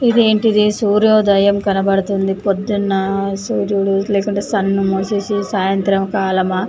ఇదేంటిది సూర్యోదయం కనబడుతుంది పొద్దున సూర్యుడు లేకుంటే సన్ మూసేసి సాయంత్రం కాలమా--